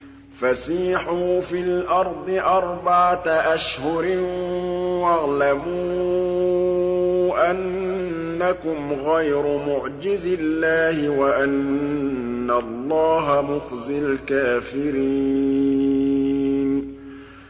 فَسِيحُوا فِي الْأَرْضِ أَرْبَعَةَ أَشْهُرٍ وَاعْلَمُوا أَنَّكُمْ غَيْرُ مُعْجِزِي اللَّهِ ۙ وَأَنَّ اللَّهَ مُخْزِي الْكَافِرِينَ